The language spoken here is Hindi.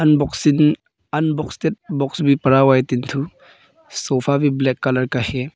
अनबॉक्सिंग अनबॉक्स बॉक्स भी पड़ा हुआ है तीन ठो सोफा भी ब्लैक कलर का है।